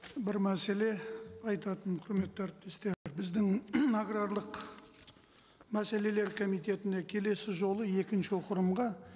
бір мәселе айтатын құрметті әріптестер біздің аграрлық мәселелер комитетіне келесі жолы екінші